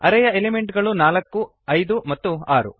ಅರೇಯ element ಗಳು ನಾಲ್ಕು ಐದು ಮತ್ತು ಆರು